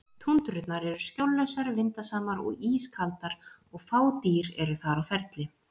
Túndrurnar eru skjóllausar, vindasamar og ískaldar og fá dýr eru þar á ferli.